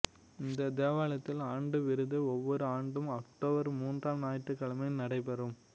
இந்த தேவாலயத்தில் ஆண்டு விருந்து ஒவ்வொரு ஆண்டும் அக்டோபர் மூன்றாம் ஞாயிற்றுக்கிழமை நடைபெறும்